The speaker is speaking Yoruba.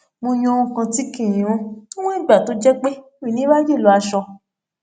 mo yan ohun kan tí kì í rún níwọn ìgbà tó jẹ pé mi ò ní ráyè lọ aṣọ